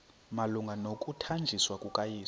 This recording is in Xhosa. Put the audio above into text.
malunga nokuthanjiswa kukayesu